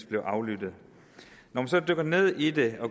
blev aflyttet når man så dykker ned i det